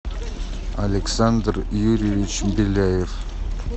александр юрьевич беляев